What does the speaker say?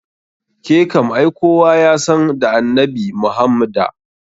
Ke kam ai kowa yasan da annabi Muhammda.